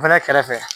O fɛnɛ kɛrɛfɛ